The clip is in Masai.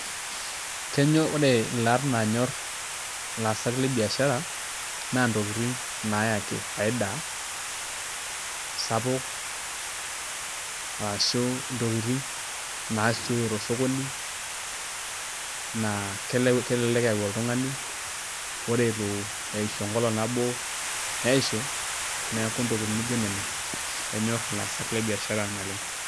kenyor ore olaat naanyor ilaasak le biashara, naa ntokitin naayaki faida sapuk, arashu intokitin naasiooyo tosokoni, naa kelelek eyau oltungani. ore eitu eishu enkolong' nabo pee eishu, neeku intokitin naijo nena enyor ilaasak le biashara naleng'